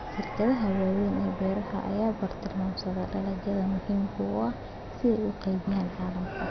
Shirkadaha waaweyn ee beeraha ayaa bartilmaameedsada dalagyada muhiimka ah si ay u qaybiyaan caalamka.